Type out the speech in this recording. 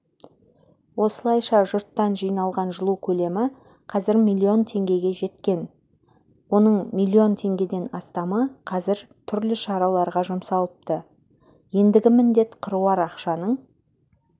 осылайша жұрттан жиналған жылу көлемі қазір миллион теңгеге жеткен оның миллион теңгеден астамы қазір түрлі шараларға жұмсалыпты ендігі міндет қыруар ақшаның